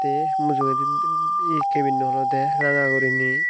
te mujugedi olode ranga gorine.